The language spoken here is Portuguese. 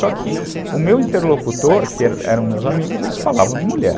Só que o meu interlocutor, que eram meus amigos, eles falavam de mulher.